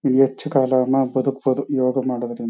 ಹೆಚ್ಚು ಕಾಲಾನ ಬದುಕ್ಬೋದು ಯೋಗ ಮಾಡೋದ್ರಿಂ--